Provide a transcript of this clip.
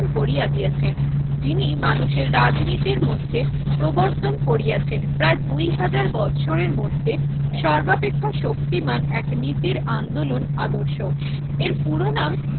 Korea দিয়াছেন যিনি মানুষের রাজনীতির মধ্যে প্রবর্তন করিয়াছেন প্রায় দুই হাজার বছরের মধ্যে সর্বাপেক্ষা শক্তিমান এক নীতির আন্দোলন আদর্শ। এর পুরোনাম